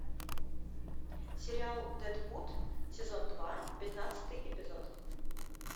сериал дедвуд сезон два пятнадцатый эпизод